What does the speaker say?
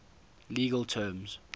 legal terms